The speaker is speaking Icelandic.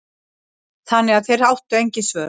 Þannig að þeir áttu engin svör.